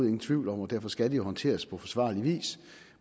ingen tvivl om og derfor skal det jo håndteres på forsvarlig vis